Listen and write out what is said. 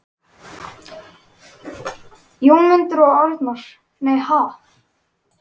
Jónmundur og Arnar: Nei, ha??